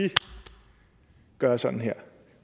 gøre sådan her